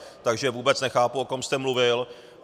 Takže vůbec nechápu, o kom jste mluvil.